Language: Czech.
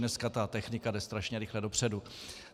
Dneska ta technika jde strašně rychle dopředu.